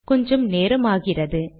கொஞ்சம் நேரமாகிறது